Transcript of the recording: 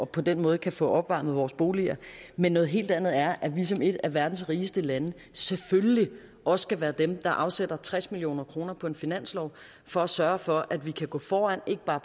på den måde kan få opvarmet vores boliger men noget helt andet er at vi som et af verdens rigeste lande selvfølgelig også skal være dem der afsætter tres million kroner på en finanslov for at sørge for at vi kan gå foran ikke bare